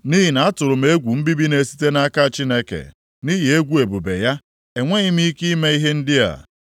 Nʼihi na atụrụ m egwu mbibi na-esite nʼaka Chineke, nʼihi egwu ebube ya, enweghị m ike ime ihe ndị a.